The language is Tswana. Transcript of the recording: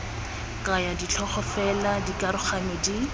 kaya ditlhogo fela dikaroganyo di